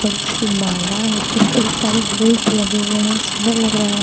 बड़ी सी माला है उसपे कई सारे फुल्स लगे हुए हैं सुंदर लग रहा है।